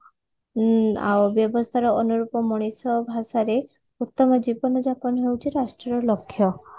ଉଁ ଆଉ ବ୍ୟବସ୍ଥାର ଅନୁରୂପ ମଣିଷ ଭାଷାରେ ଉତ୍ତମ ଜୀବନ ଯାପନ ହଉଛି ରାଷ୍ଟ୍ରୀୟ ଲକ୍ଷ୍ୟ